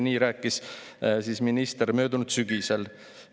" Nii rääkis minister möödunud sügisel.